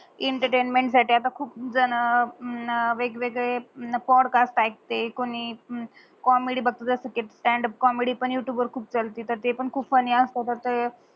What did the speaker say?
entertainment साटी अत्ता खूप जन वेग वेगळे पोड्कास्ट प्याक आणि कोणी कॉमेडी बगत जस कि स्टांड अप कॉमेडी पण युटूब खूप चालत तर ते पण खूप आणि अस तर